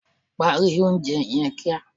Parí oúnje yen kia